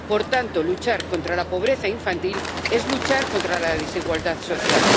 Por tanto, luchar contra la pobreza infantil es luchar contra la desigualdad social.